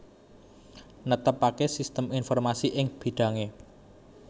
Netepaké sistem informasi ing bidhangé